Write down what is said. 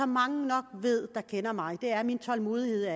mange nok ved der kender mig er min tålmodighed